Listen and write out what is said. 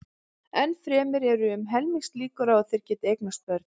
Enn fremur eru um helmingslíkur á að þeir geti eignast börn.